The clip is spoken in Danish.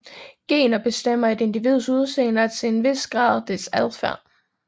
Gener bestemmer et individs udseende og til en vis grad deres adfærd